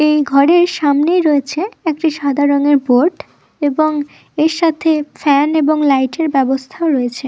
এই ঘরের সামনে রয়েছে একটি সাদা রংয়ের বোর্ড । এবং এর সাথে ফ্যান এবং লাইট -এর ব্যবস্থা রয়েছে--